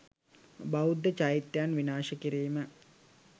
බෞද්ධ චෛත්‍යයන් විනාශ කිරීම